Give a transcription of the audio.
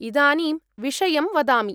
इदानीं विषयं वदामि।